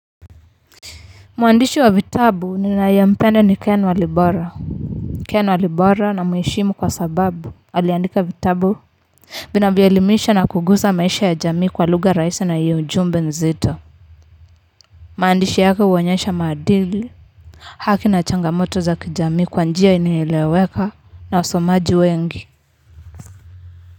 Mwandishi wa vitabu ninayempenda ni Ken Walibora. Ken Walibora ni mwalimu kwa sababu aliandika vitabu. Vinavyoelimisha na kugusa maisha ya jamii kwa lugha rahisi na yenye ujumbe nzito. Maandishi yake huonyesha maadili, haki na changamoto za kijamii kwa njia inayoeleweka na wasomaji wengi.